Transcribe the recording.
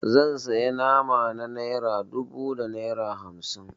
Zan sayi nama na naira dubu da naira hamsin.